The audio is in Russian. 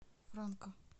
франка